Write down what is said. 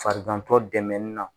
Farigantɔ dɛmɛni na